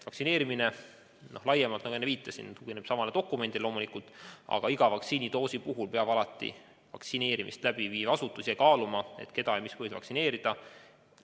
Vaktsineerimine laiemalt, nagu enne viitasin, tugineb samale dokumendile, aga iga vaktsiinidoosi puhul peab vaktsineerimist läbi viiv asutus alati ka ise kaaluma, keda ja mis põhjusel vaktsineerida.